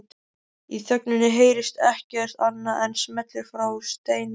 Í þögninni heyrist ekkert annað en smellir frá steinvölum